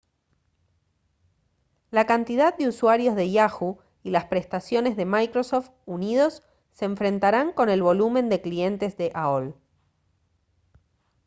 la cantidad de usuarios de yahoo y las prestaciones de microsoft unidos se enfrentarán con el volumen de clientes de aol